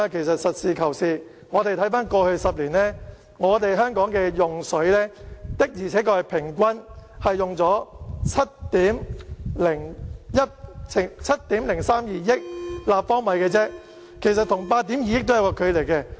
實事求是，看回過去10年香港的用水量，的確平均用了7億320萬立方米，與8億 2,000 萬立方米是有距離的。